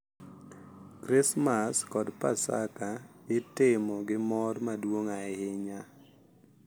Krismas kod Paska itimo gi mor maduong’ ahinya,